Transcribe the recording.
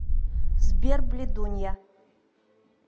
сбер блядунья